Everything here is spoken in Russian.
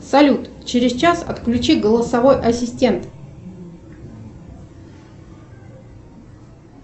салют через час отключи голосовой ассистент